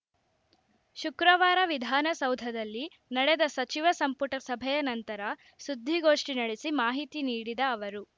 ಶುಕ್ರವಾರ ವಿಧಾನಸೌಧದಲ್ಲಿ ನಡೆದ ಸಚಿವ ಸಂಪುಟ ಸಭೆಯ ನಂತರ ಸುದ್ದಿಗೋಷ್ಠಿ ನಡೆಸಿ ಮಾಹಿತಿ ನೀಡಿದ ಅವರು